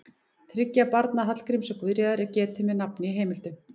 Þriggja barna Hallgríms og Guðríðar er getið með nafni í heimildum.